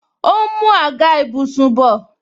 Ó ń mú àga ìbùsùn bọ